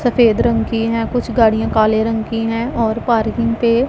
सफेद रंग की हैं कुछ गाड़ियां काले रंग की हैं और पार्किंग पे--